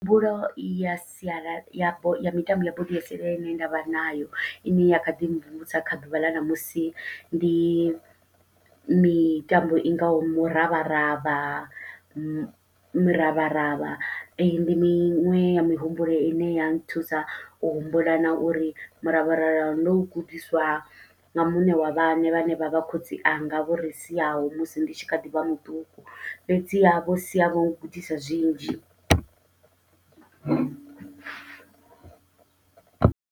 Mbuelo ya sialala ya bo, ya mitambo ya bodo ya sialala ine nda vha nayo, i ne ya kha ḓi mvumvusa kha ḓuvha ḽa ṋamusi. Ndi mitambo i ngaho muravharavha, miravharavha. Ee, ndi miṅwe ya mihumbulo ine ya nthusa, u humbula na uri miravharavha ndo u gudiswa nga muṋe wa vhaṋe vha ne vha vha khotsianga vho ri siaho. Musi ndi tshi kha ḓi vha muṱuku, fhedziha vho sia vho gudisa zwinzhi.